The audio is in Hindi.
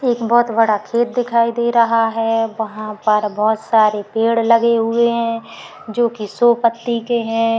एक बोहोत बड़ा खेत दिखाई दे रहा है। वहां पर बोहोत सारे पेड़ लगे हुए हैं जो कि सौ पत्ती के हैं।